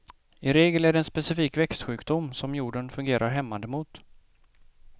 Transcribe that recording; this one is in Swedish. I regel är det en specifik växtsjukdom, som jorden fungerar hämmande mot.